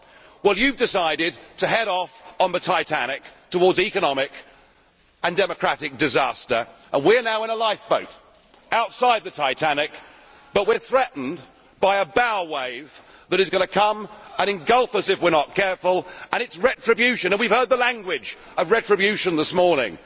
Well you have decided to head off on the Titanic towards economic and democratic disaster, and we are now in a lifeboat outside the Titanic, but we are threatened by a bow wave that is going to come and engulf us if we are not careful and it is retribution. We have heard the language of retribution this morning.